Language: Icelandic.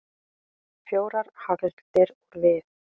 Fjórar hagldir úr við.